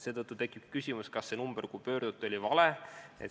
Seetõttu tekib küsimus, kas see number, kuhu helistati, oli vale.